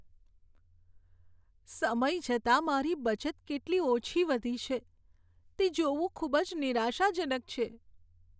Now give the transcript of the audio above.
સમય જતાં મારી બચત કેટલી ઓછી વધી છે તે જોવું ખૂબ જ નિરાશાજનક છે.